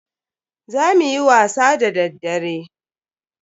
Za muyi wasa da daddare.